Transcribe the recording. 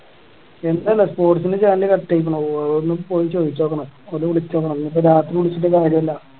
എനിക്ക് അറിയില്ല sports ൻ്റെ channel കട്ടായിക്കണ് ഓരോട് ഒന്ന് പോയി ചോയ്‌ചോക്കണം അല്ലെ വിളിചോക്കണം ഇനീപ്പോ രാത്രി വിളിച്ചിട്ട് കാര്യം ഇല്ല